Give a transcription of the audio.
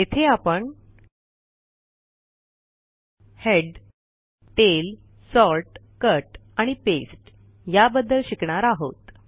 येथे आपण head tail sort cut आणि पास्ते या बद्दल शिकणार आहोत